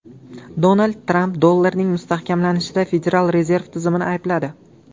Donald Tramp dollarning mustahkamlanishida Federal rezerv tizimini aybladi.